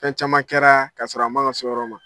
Fɛn caman kɛra kasɔrɔ a man ka s'o ma.